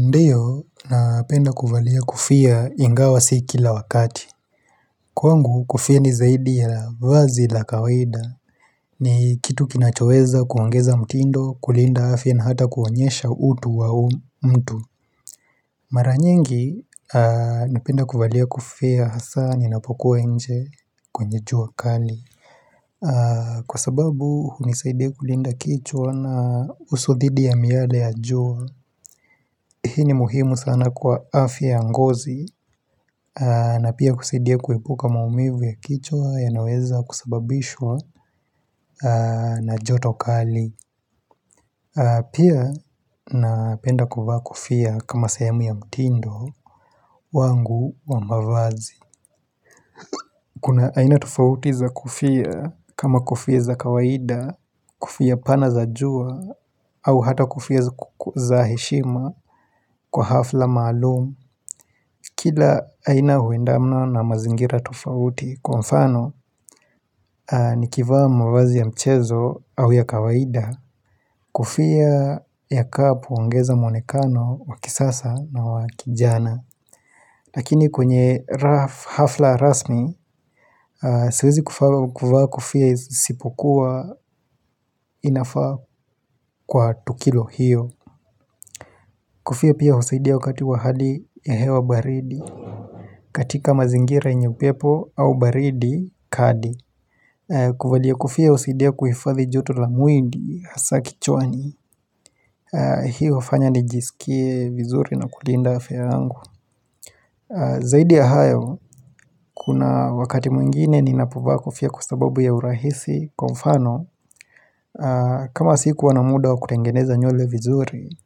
Ndiyo napenda kuvalia kofia ingawa sii kila wakati kwangu kofia nizaidi ya la vazi la kawaida ni kitu kinachoweza kuongeza mtindo kulinda afya na hata kuonyesha utu wa mtu maranyingi napenda kuvalia kofia hasa ninapokuwa nje kwenye jua kali kwa sababu hunisaidia kulinda kichwa na usudhidi ya miala ya jua Hii ni muhimu sana kwa afya ya ngozi na pia kusaidia kuepuka maumivu ya kichwa ya naweza kusababishwa na jotokali Pia napenda kofia kama sehemu ya mtindo wangu wa mAvazi Kuna aina tofauti za kofia kama kofia za kawaida, kofia pana za jua, au hata kofia za heshima kwa hafla maalumu Kila aina huendana na mazingira tofauti kwa mfano ni kivaa mavazi ya mchezo au ya kawaida Kofia ya kapu huongeza mwonekano wakisasa na wakijana Lakini kwenye hafla rasmi siwezi kuvaa kofia isipokua inafaa kwa tukilo hiyo Kofia pia husaidia wakati wahadi ya hewa baridi katika mazingira yenye upepo au baridi kadi kuvalia kofia husaidia kuhifadhi joto la mwili hAsa kichwani hiyo inafanya nijisikie vizuri na kulinda afya yangu Zaidi ya hayo Kuna wakati mwingine ni napo vaabkofia kwa sababu ya urahisi Kwa mfano kama siku wanamuda wa kutengeneza nywele vizuri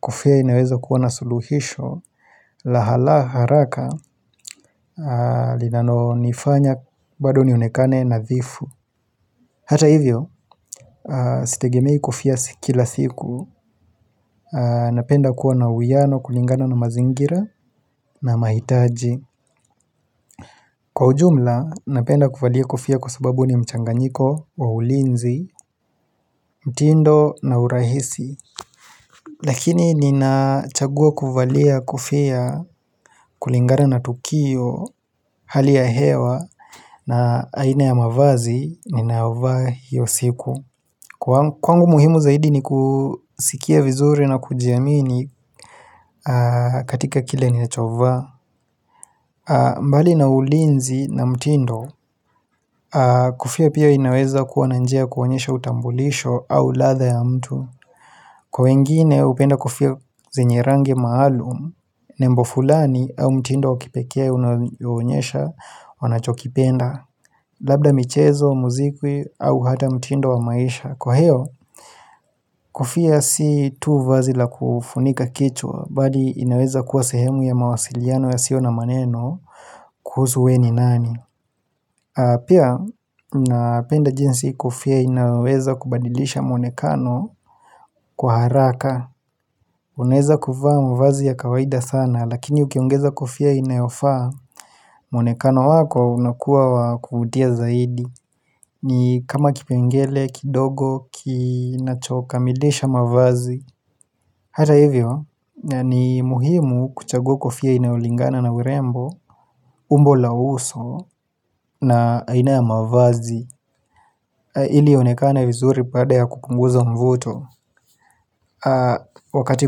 Kofia inaweza kuwa na suluhisho la haraka linalo nifanya bado nionekane nathifu Hata hivyo Sitegemei kofia sikila siku Napenda kuwa na uiano kulingana na mazingira na mahitaji Kwa ujumla, napenda kuvalia kofia kwa sababu ni mchanganyiko wa ulinzi, mtindo na urahisi Lakini nina chagua kuvalia kofia kulingana na tukio, hali ya hewa na aina ya mavazi ninayovaa hiyo siku Kwangu muhimu zaidi ni kusikia vizuri na kujiamini katika kile ninachovaa mbali na ulinzi na mtindo Kofia pia inaweza kuwa ni njia ya kuonyesha utambulisho au ladha ya mtu Kwa wengine hupenda kofia zenye rangi maalum Nembo fulani au mtindo wakipekee unaoonyesha wanachokipenda Labda michezo, muzikwi au hata mtindo wa maisha Kwa hio, kofia si tu vazi la kufunika kichwa, bali inaweza kuwa sehemu ya mawasiliano yasio na maneno kuhusu wewe ni nani Pia, na penda jinsi kofia inaweza kubadilisha mwonekano kwa haraka Unaweza kuvaa mavazi ya kawaida sana, lakini ukiongeza kofia inayofaa mwonekano wako unakuwa wa kuvutia zaidi ni kama kipengele, kidogo, kinachokamilisha mavazi Hata hivyo, ni muhimu kuchagua kofia inayolingana na urembo umbo la uso na aina ya mavazi ili ionekane vizuri baada ya kukunguza mvuto. Wakati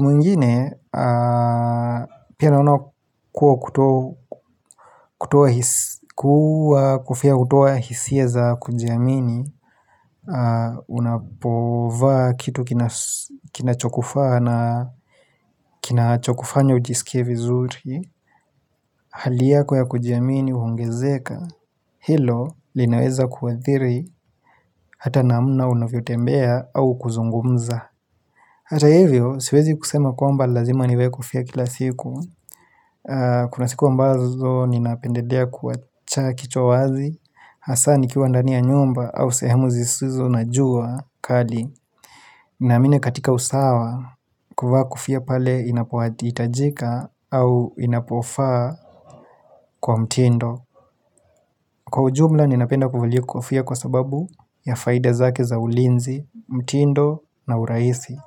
mwingine, pia naona kuwa kofia hutoa hisia za kujiamini Unapovaa kitu kina chokufaa na kina chokufanya ujisikie vizuri Hali yako ya kujiamini huongezeka Hilo linaweza kuathiri hata namna unavyotembea au kuzungumza Hata hivyo, siwezi kusema kwamba lazima nivae kofia kila siku. Kuna siku ambazo ni napendedea kuwacha kichwa wazi, hasa ni kiwa ndani ya nyumba au sehemu zisizo na jua kali. Naamini katika usawa, kuvaa kofia pale inapohitajika au inapofaa kwa mtindo. Kwa ujumla, ni napenda kuvalia kofia kwa sababu ya faida zake za ulinzi, mtindo na urahisi.